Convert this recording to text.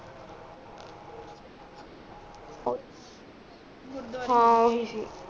ਹਾਂ ਉਹੀ ਸੀ